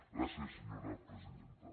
gràcies senyora presidenta